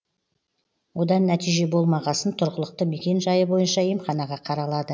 одан нәтиже болмағасын тұрғылықты мекен жайы бойынша емханаға қаралады